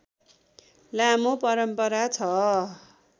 लामो परम्परा छ